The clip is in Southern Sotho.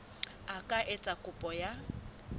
a ka etsa kopo ya